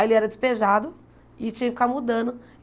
Aí ele era despejado e tinha que ficar mudando.